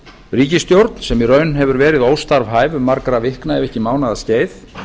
ríkisstjórn sem í raun hefur verið óstarfhæf um margra vikna ef ekki mánaða skeið